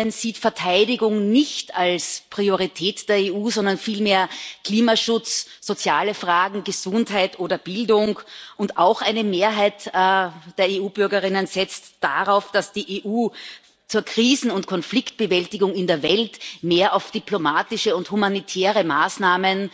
Bürger sieht Verteidigung nicht als Priorität der EU, sondern vielmehr Klimaschutz, soziale Fragen, Gesundheit oder Bildung, und auch eine Mehrheit der EU Bürgerinnen setzt darauf, dass die EU zur Krisen und Konfliktbewältigung in der Welt mehr auf diplomatische und humanitäre Maßnahmen